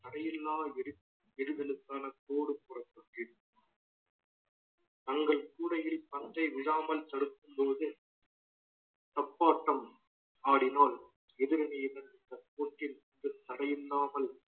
தடையில்லா விடி~ விடிவெலுக்கான தோடு புறப்பட்டு தங்கள் கூடையில் பந்தை விழாமல் தடுக்கும்போது தப்பாட்டம் ஆடினால் எதிரணியின் மூச்சில் தடையில்லாமல்